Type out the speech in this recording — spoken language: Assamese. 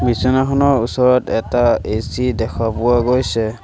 বিচনাখনৰ ওচৰত এটা এ_চি দেখা পোৱা গৈছে।